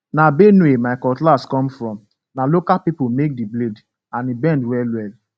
na benue my cutlass come from na local people make di blade and e bend well well